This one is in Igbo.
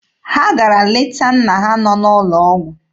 Ha gara leta nna ha nọ n'ụlọ ọgwụ.